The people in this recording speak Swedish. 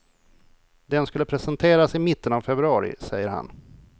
Den skulle presenteras i mitten av februari, säger han.